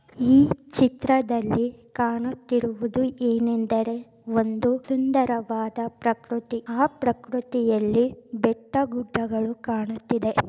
ಈ ಚಿತ್ರದಲ್ಲಿ ಕಾಣುತ್ತಿರುವುದು ಏನೆಂದರೆ ಒಂದು ಸುಂದರವಾದ ಪ್ರಕೃತಿ ಆ ಪ್ರಕೃತಿಯಲ್ಲಿ ಬೆಟ್ಟ ಗುಡ್ಡಗಳು ಕಾಣುತ್ತಿದೆ.